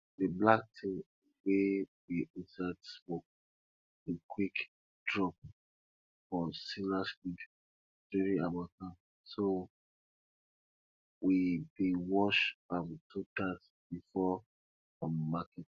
di black tin wey dey inside smoke dey quick drop for spinach leaf during harmattan so we dey wash am two times before um market